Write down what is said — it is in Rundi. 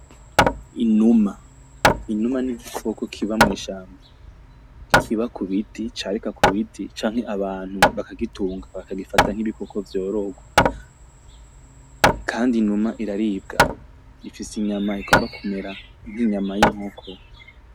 Inuma, inuma n'igikoko kiba mwishamba kiba kubiti carika k'ubiti canke abantu bakagitunga bakagifata nkibikoko vyororwa kandi inuma iraribwa ifise inyama igomba kumera nk'inyama y'inkoko